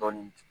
Dɔɔnin